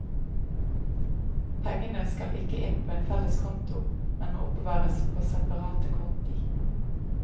Pengene skal ikke inn på en felles konto, men må oppbevares på separate konti.